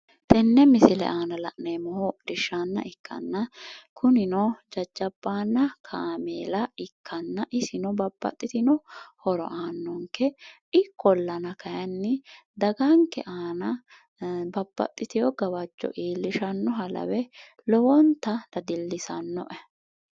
Tene misile aana la'neemmohu hodhishsha ikkanna kunino jajjabbanna kaameella ikkanna isino babbaxitino horo aanonke ikkollanan daganke aana babbaxitino gawajo iillishanoha lawe dadilisanoe.